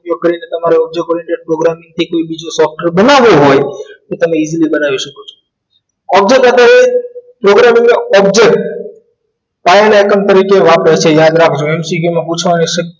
ઉપયોગ કરી ને તમારો program કે બીજું કોઈ software બનવું હોય તો તમે easily બનાઈ સકો છો object અપડે program in your object વાપરે છે યાદ રાખજો MCQ માં પુછાસે